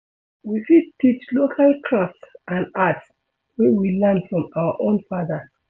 We fit teach local craft and art wey we learn from our own fathers